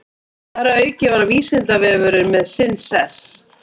Þar að auki var Vísindavefurinn með sinn sess.